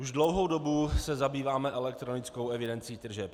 Už dlouhou dobu se zabýváme elektronickou evidencí tržeb.